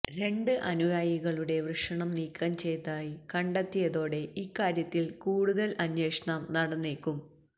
രണ്ട് അനുയായികളുടെ വൃഷണം നീക്കം ചെയ്തായി കണ്ടെത്തിയതോടെ ഇക്കാര്യത്തില് കൂടുതല് അന്വേഷണം നടന്നേക്കും